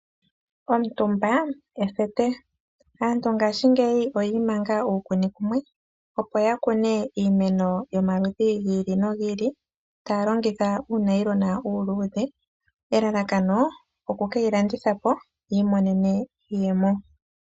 Omutumba ethete. Aantu ngaashingeyi oyi imanga uukuni kumwe opo ya kune iimeno yi ili noyi ili, taya longitha uunayilona uuluudhe, elalakano oku keyi landitha po, yi imonene iiyemo.